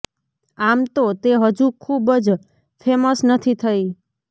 આમ તો તે હજુ ખુબ જ ફેમસ નથી થઇ